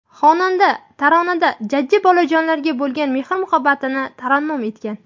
Xonanda taronada jajji bolajonlarga bo‘lgan mehr-muhabbatni tarannum etgan.